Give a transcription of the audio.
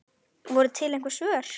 Voru til einhver svör?